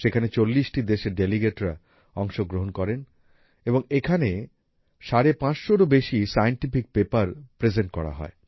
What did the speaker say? এখানে ৪০ টি দেশের ডেলিগেটরা অংশগ্রহণ করেন এবং এখানে ৫৫০ এরও বেশী সায়েন্টিফিক পেপার প্রেজেন্ট করা হয়